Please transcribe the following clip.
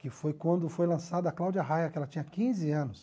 Que foi quando foi lançada a Cláudia Raia, que ela tinha quinze anos.